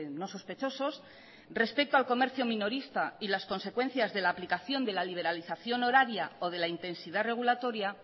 no sospechosos respecto al comercio minorista y las consecuencias de la aplicación de la liberalización horaria o de la intensidad regulatoria